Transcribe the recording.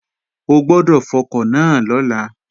O gbọ́dọ̀ fọkọ̀ náà lọ́la!